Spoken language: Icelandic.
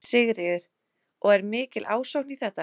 Sigríður: Og er mikil ásókn í þetta?